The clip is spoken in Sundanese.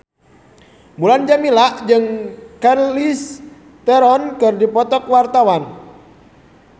Mulan Jameela jeung Charlize Theron keur dipoto ku wartawan